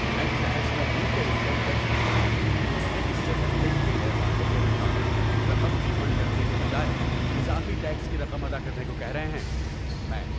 میں طیش میں ہوں کہ انکم ٹیکس حکام مجھ سے اس سے پہلے کیے گئے وعدے کے مطابق رقم ری فنڈ کرنے کے بجائے اضافی ٹیکس کی رقم ادا کرنے کو کہہ رہے ہیں۔ (میں)